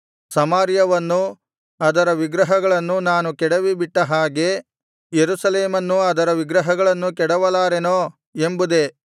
ಸಮಾರ್ಯವನ್ನೂ ಅದರ ವಿಗ್ರಹಗಳನ್ನೂ ನಾನು ಕೆಡವಿಬಿಟ್ಟ ಹಾಗೆ ಯೆರೂಸಲೇಮನ್ನೂ ಅದರ ವಿಗ್ರಹಗಳನ್ನೂ ಕೆಡವಲಾರೆನೋ ಎಂಬುದೇ